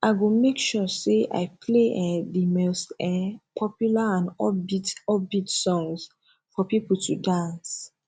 i go make sure say i play um di most um popular and upbeat upbeat songs for people to dance